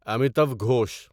Amitav Ghosh